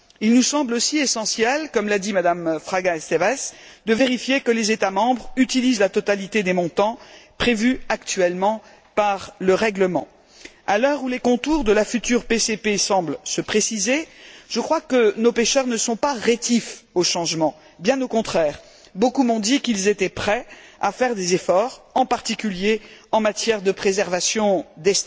Il nous semble aussi essentiel, comme l'a dit Mme Fraga Estévez, de vérifier que les États membres utilisent la totalité des montants prévus actuellement par le règlement. À l'heure où les contours de la future PCP semblent se préciser, je crois que nos pêcheurs ne sont pas rétifs au changement, bien au contraire. Beaucoup m'ont dit qu'ils étaient prêts à faire des efforts, en particulier en matière de préservation des stocks.